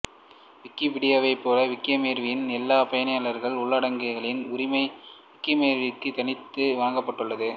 விக்கிபீடியாவை போல விக்கிமேப்பியாவின் எல்லா பயனாளர் உள்ளடக்கங்களின் உரிமை விக்கிமேப்யாவிற்கு தனித்து வழங்கப்பட்டுள்ளது